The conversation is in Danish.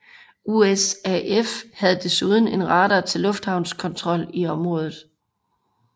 USAF havde desuden en radar til lufthavnskontrol i området